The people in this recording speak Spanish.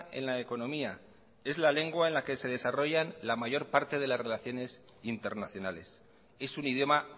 en la economía es la lengua en la que se desarrollan la mayor parte de las relaciones internacionales es un idioma